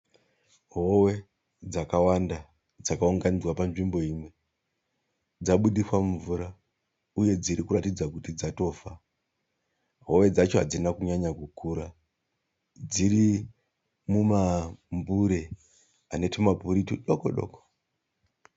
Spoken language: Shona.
Hove dzakawanda dzakaunganidzwa panzvimbo imwe, dzabudiswa mumvura uye dzirikuratidza kuti dzatofa. Hove dzacho hadzina kunyanya kukura. Dziri mumambure anetumaburi tudoko-doko.